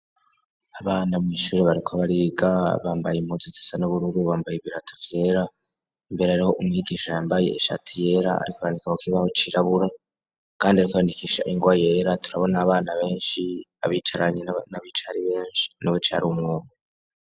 Abana mw'ishure bariko bariga bambaye impuzu zisa n'ubururu bambaye ibirato vyera mbere hariho umwigisha yambaye ishati yera ariko arandika ku kibaho cirabura kandi ariko arandikisha ingwa yera turabona abana benshi ,abicaranye n'abicaye ari benshi n'abicaye ari umwe umwe .